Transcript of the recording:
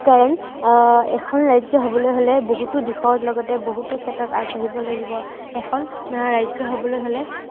কাৰণ আহ এখন ৰাজ্য় হবলৈ হলে বহুতো দিশৰ লগতে বহুতো ক্ষেত্ৰত আগবাঢ়িব লাগিব। এখন আহ ৰাজ্য় হবলৈ হ'লে